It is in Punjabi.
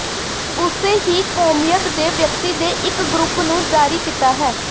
ਉਸੇ ਹੀ ਕੌਮੀਅਤ ਦੇ ਵਿਅਕਤੀ ਦੇ ਇੱਕ ਗਰੁੱਪ ਨੂੰ ਜਾਰੀ ਕੀਤਾ ਹੈ